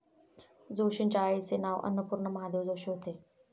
जोशींच्या आईचे नाव अन्नपूर्णा महादेव जोशी होते.